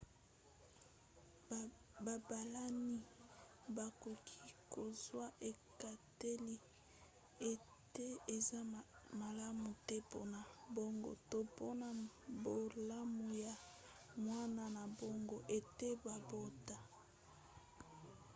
babalani bakoki kozwa ekateli ete eza malamu te mpona bango to mpona bolamu ya mwana na bango ete babota